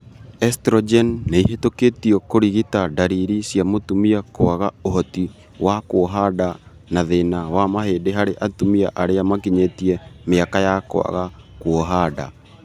Estrogen nĩihĩtũkĩtio kũrigita ndariri cia mũtumia kwaga ũhoti wa kuoha nda na thĩna wa mahĩndi harĩ atumia arĩa makinyĩte mĩaka ya kwaga kuoha nda